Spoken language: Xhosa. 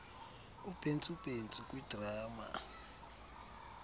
ubhentsu bhentsu kwidrama